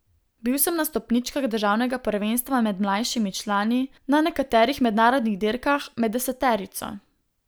Bil sem na stopničkah državnega prvenstva med mlajšimi člani, na nekaterih mednarodnih dirkah med deseterico.